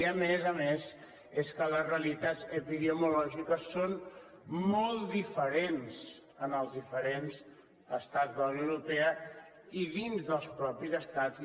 i a més a més és que les realitats epidemiològiques són molt diferents en els diferents estats de la unió europea i dins dels mateixos estats